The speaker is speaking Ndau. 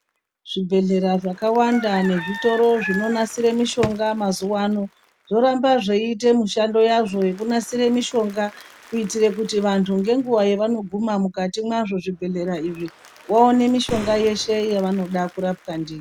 Zvibhedhlera zvakawanda nezvitoro zvinonasire mishonga mazuwano zvorambe zveiite mishando yazvo yekunasire mishonga kuitira kuti vandu ngenguva yavanoguma mukati mazvo zvibhedhlera izvi awane mishonga yese yaanoda kurapwa ndiyo.